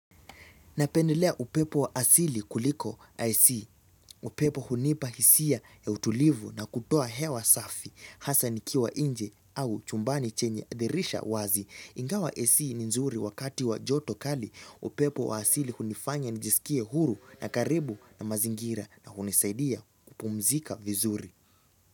Napendelea upepo wa asili kuliko AC. Upepo hunipa hisia ya utulivu na kutoa hewa safi. Hasa nikiwa nje au chumbani chenye dirisha wazi. Ingawa AC ni nzuri wakati wa joto kali upepo wa asili hunifanya nijisikie huru na karibu na mazingira na hunisaidia kupumzika vizuri.